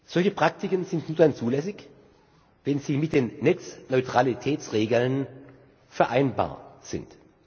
Solche Praktiken sind nur dann zulässig, wenn sie mit den Netzneutralitätsregeln vereinbar sind.